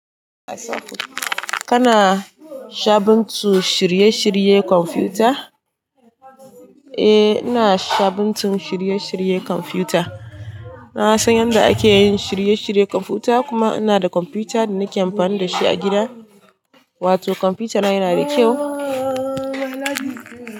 Kana shabuntun shirye shiryen kwamfuta? Eh, ina shabuntun shirye shiryen kwamfuta. Na san yadda ake yin shirye shiryen kwamfuta, kuma ina da kwamfuta da nake amfani da shi a gida. Wato kwamfutana yana da kyau.